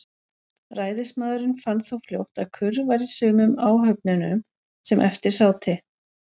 Ræðismaðurinn fann þó fljótt, að kurr var í sumum áhöfnunum, sem eftir sátu.